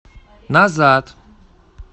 назад